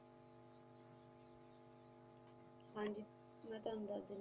ਹਾਂਜੀ ਮੈ ਤੈਨੂੰ ਦੱਸ ਦੇਣੀ